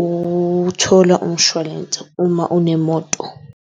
ukuthola umshwalense uma unemoto.